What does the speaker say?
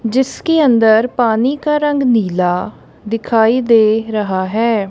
जिसके अंदर पानी का रंग नीला दिखाई दे रहा हैं।